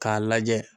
K'a lajɛ